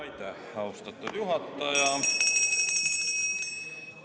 Aitäh, austatud juhataja!